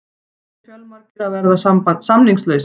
Það eru fjölmargir að verða samningslausir.